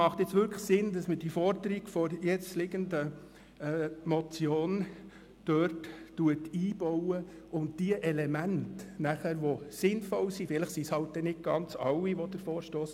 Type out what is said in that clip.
Es ist jetzt wirklich sinnvoll, die Forderungen der vorliegenden Motion dort einzubauen und die Elemente, die sinnvoll sind, in die Gesundheitsstrategie aufzunehmen.